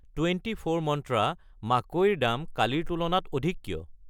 Twenty four Mantra মাকৈ ৰ দাম কালিৰ তুলনাত অধিক কিয়?